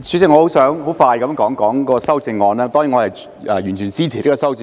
主席，我想很快地談談修正案，當然我完全支持修正案。